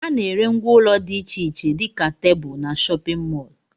Ana ere ngwá ụlọ dị iche iche dika tebụl n'shóppin mol.